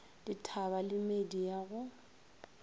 dithaba le meedi ya go